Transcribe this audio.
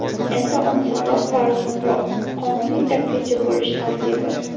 Endi osonroq va arzonroq: Qonuniy taksichi bo‘lish tartibi.